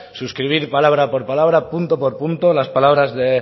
suscribir palabra por palabra punto por punto las palabras de